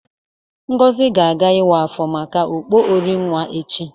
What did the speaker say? Ngozi ga-aga iwa afọ maka okpo orinwa echi.